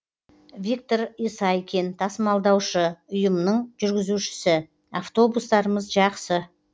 виктор исайкин тасымалдаушы ұйымның жүргізушісі автобустарымыз жақсы